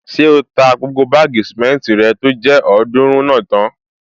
Ṣé o ta gbogbo báàgì sìmẹ́ntì rẹ tó jẹ́ ọ̀ọ́dúrún náà tán?